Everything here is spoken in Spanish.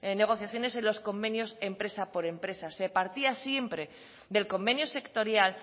negociaciones en los convenios empresa por empresa se partía siempre del convenio sectorial